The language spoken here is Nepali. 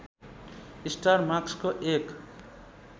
स्टार मार्कसको एक